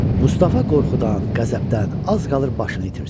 Mustafa qorxudan, qəzəbdən az qalır başını itirsin.